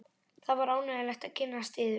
Það var ánægjulegt að kynnast yður.